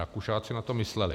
Rakušáci na to mysleli.